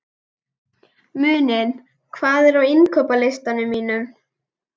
Muninn, hvað er á innkaupalistanum mínum?